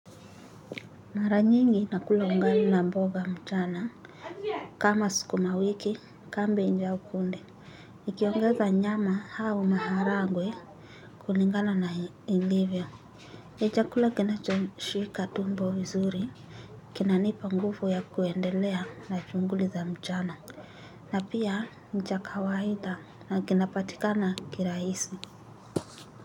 Mara nyingi na kula ungali na mboga mchana kama sikumawiki kambej au kunde nikiongeza nyama hau maharagwe kulingana na ilivyo nichakula kinacho shika tumbo vizuri kinanipa ngufu ya kuendelea na shunguli za mchana na pia nichakawada na kinapatika na kirahisi.